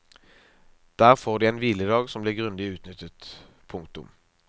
Der får de en hviledag som blir grundig utnyttet. punktum